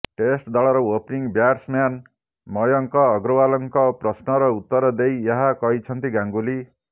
test ଦଳର opening batsman Mayank ଅଗ୍ରଓ୍ବାଲଙ୍କ ପ୍ରଶ୍ନର ଉତ୍ତର ଦେଇ ଏହା କହିଛନ୍ତି ଗାଙ୍ଗୁଲି